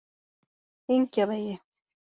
Engjavegi